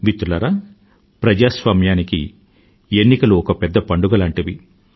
మిత్రులారా ప్రజాస్వామ్యానికి ఎన్నికలు ఒక పెద్ద పండుగ లాంటివి